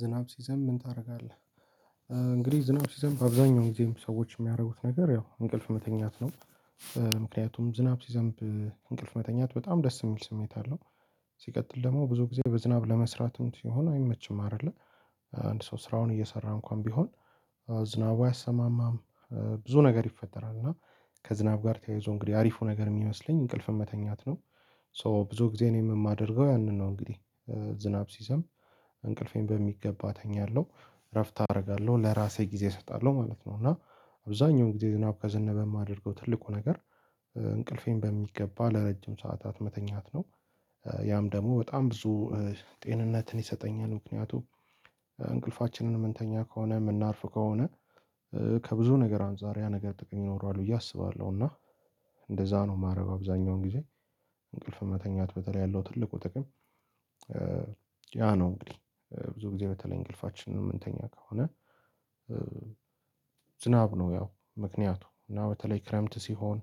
ዝናብ ሲዘንብ ምን ታደርጋለህ? እንግዲህ ዝናብ ሲዘንብ አብዛኛው ጊዜም ሰዎች የሚያደርጉት ነገር ያው እንቅልፍ መተኛት ነው። ምክንያቱም ዝናብ ሲዘንብ እንቅልፍ መተኛት በጣም ደስ የሚል ስሜት አለው። ሲቀጥል ደግሞ ብዙ ጊዜ በዝናብ ለመስራትም ሲሆን አይመችም አይደለ። አንድ ሰው ስራውን እየሰራ እንኳን ቢሆን። ዝናቡ አያሰማም። ብዙ ነገር ይፈጠራል እና ከዝናብ ጋር ተያይዞ እንግዲህ አሪፉ ነገር የሚመስለኝ እንቅልፍን መተኛት ነው። ሶ ብዙ ጊዜ እኔም የማደርገው ያንን ነው እንግዲህ። ዝናብ ሲዘንብ እንቅልፌን በሚገባ እተኛለው። እረፍት አርጋለሁ ለራሴ ጊዜ እሰጣለሁ ማለት ነው። እና አብዛኛውን ጊዜ ዝናብ ከዘነበ የማደርገው ትልቁ ነገር። እንቅልፌን በሚገባ ለረጅም ሰዓታት መተኛት ነው። ያም ደግሞ በጣም ብዙ ጤንነትን ይሰጠኛል። ምክንያቱም እንቅልፋችንን የምንተኛ ከሆነ የምናርፍ ከሆነ ከብዙ ነገር አንፃር ያ ነገር ጥቅም ይኖራል ብዬ አስባለሁ። እና እንደዛ ነው የማደርገው አብዛኛውን ጊዜ። እንቅልፍን መተኛት በተለይ ያለው ትልቁ ጥቅም። ያ ነው እንግዲህ ብዙ ጊዜ በተለይ እንቅልፋችንን የምንተኛ ከሆነ። ዝናብ ነው ያው ምክንያቱ እና በተለይ ክረምት ሲሆን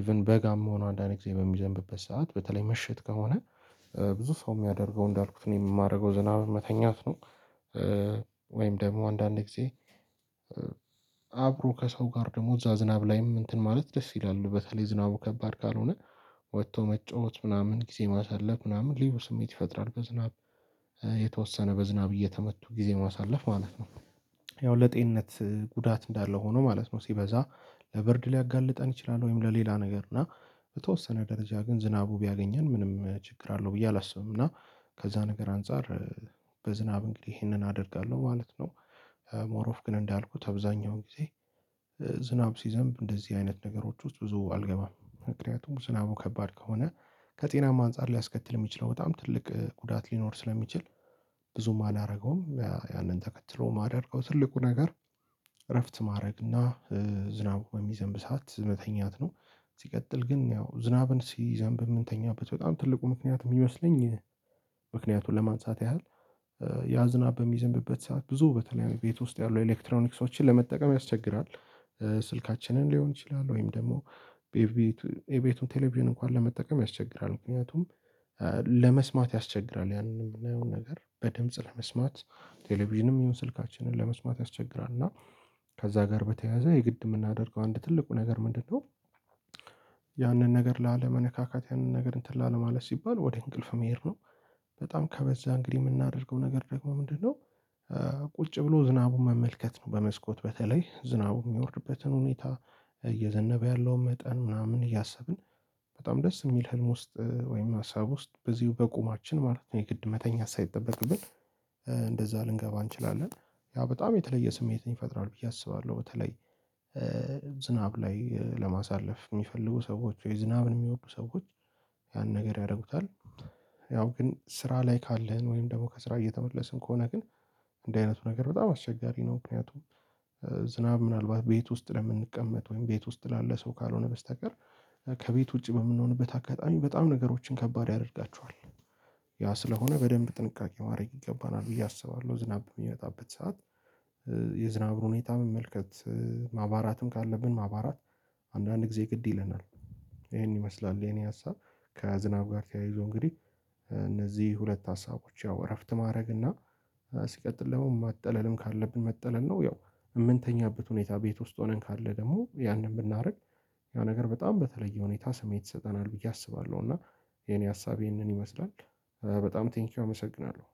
ኢቭን በጋም ሆኖ አንዳንዴ ጊዜ በሚዘንብበት ሰዓት በተለይ ምሽት ከሆነ ብዙ ሰው የሚያደርገው እንዳልኩት ነው የማደርገው ዝናብም መተኛት ነው። ወይም ደግሞ አንዳንዴ ጊዜ ከሰው ጋር ደግሞ እዛ ዝናብ ላይም እንትን ማለት ደስ ይላል በተለይ ዝናቡ ከባድ ካልሆነ። ወጥቶ መጫወት ምናምን ጊዜ ማሳለፍ ምናምን ልዩ ስሜት ይፈጥራል። በዝናብ የተወሰነ በዝናብ እየተመቱ ጊዜ ማሳለፍ ማለት ነው። ያው ለጤንነት ጉዳት እንዳለው ሆኖ ማለት ነው ሲበዛ ለበርድ ሊያጋልጠን ይችላል። ወይም ለሌላ ነገር እና በተወሰነ ደረጃ ግን ዝናቡ ቢያገኘን ምንም ችግር አለው ብዬ አላስብም። እና ከዛ ነገር አንፃር በዝናብ እንግዲህ ይሄንን አደርጋለሁ ማለት ነው። ሞር ኦፍ ግን እንዳልኩት አብዛኛውን ጊዜ ዝናብ ሲዘንብ እንደዚህ አይነት ነገሮች ውስጥ ብዙ አልገባም ምክንያቱም ዝናቡ ከባድ ከሆነ። ከጤናማ አንፃር ሊያስከትል የሚችለው በጣም ትልቅ ጉዳት ሊኖር ስለሚችል። ብዙም አላደረገውም ያንን ተከትሎ የማደርገው ትልቁ ነገር። እረፍት ማድረግ እና ዝናብ በሚዘንብ ሰዓት መተኛት ነው። ሲቀጥል ግን ያው ዝናብን ሲዘንብ የምንተኛበት በጣም ትልቁ ምክንያት የሚመስለኝ ለማንሳት ያህል ያ ዝናብ በሚዘንብበት ሰዓት ብዙ በተለያዩ ቤት ውስጥ ያሉ ኤሌክትሮኒክሶችን ለመጠቀም ያስቸግራል። ስልካችንን ሊሆን ይችላል ወይም ደግሞ ኤቤቱ ኤቤቱን ቴሌቪዥን እንኳን ለመጠቀም ያስቸግራል። ምክንያቱም ለመስማት ያስቸግራል ያንንም ነገር በድምጽ ለመስማት ቴሌቪዥንም ይሁን ስልካችንን ለመስማት ያስቸግራል። እና ከዛ ጋር በተያያዘ የግድ የምናደርገው አንድ ትልቁ ነገር ምንድነው? ያንን ነገር ላለመነካካት ያንን ነገር እንትን ላለማለት ሲባል ወደ እንቅልፍ መሄድ ነው። በጣም ከበዛ እንግዲህ የምናደርገው ነገር ደግሞ ምንድነው? ቁጭ ብሎ ዝናቡን መመልከት ነው በመስኮት በተለይ ዝናቡ የሚወርድበትን ሁኔታ። እየዘነበ ያለው መጠን ምናምን እያሰብን በጣም ደስ የሚል ህልም ውስጥ ወይም ሀሳብ ውስጥ በዚሁ በቁማችን ማለት ነው የግድ መተኛት ሳይጠበቅብን። እንደዛ ልንገባ እንችላለን ያ በጣም የተለየ ስሜት ይፈጥራል ብዬ አስባለሁ። በተለይ ዝናብ ላይ ለማሳለፍ የሚፈልጉ ሰዎች ወይ ዝናብን የሚወዱ ሰዎች ያን ነገር ያደርጉታል። ያው ግን ስራ ላይ ካለን ወይም ደግሞ ከስራ እየተመለስን ከሆነ ግን እንዲ አይነቱ ነገር በጣም አስቸጋሪ ነው። ምክንያቱም ዝናብ ምናልባት ቤት ውስጥ ለምንቀመጥ ወይም ቤት ውስጥ ላለ ሰው ካልሆነ በስተቀር። ከቤት ውጪ በምንሆንበት አጋጣሚ በጣም ነገሮችን ከባድ ያደርጋቸዋል። ያ ስለሆነ በደንብ ጥንቃቄ ማድረግ ይገባናል ብዬ አስባለሁ። ዝናብ የሚመጣበት ሰዓት የዝናብ ሁኔታ መመልከት ማባራትም ካለብን ማባራት አንዳንድ ጊዜ ግድ ይለናል። ይሄን ይመስላል የኔ ሀሳብ። ከዝናብ ጋር ተያይዞ እንግዲህ እነዚህ ሁለት ሀሳቦች ያው እረፍት ማድረግ እና ሲቀጥል መጠለልም ካለብን መጠለል ነው። ያው የምንተኛበት ሁኔታ ቤት ውስጥ ሆነን ካለ ደግሞ ያንን ብናደርግ ያ ነገር በጣም በተለየ ሁኔታ ስሜት ይሰጠናል ብዬ አስባለሁ። የኔ ሀሳብ ይህንን ይመስላል። በጣም ቴንኪው አመሰግናለሁ